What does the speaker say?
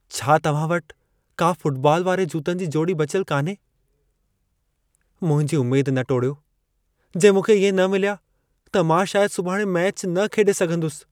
छा तव्हां वटि का फ़ुटबॉल वारे जूतनि जी जोड़ी बचियल कान्हे? मुंहिंजी उमेद न टोड़ियो। जे मूंखे इहे न मिलिया, त मां शायदि सुभाणे मैचु न खेॾे सघंदुसि।